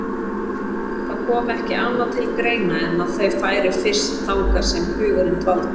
Það kom ekki annað til greina en að þau færu fyrst þangað sem hugurinn dvaldi.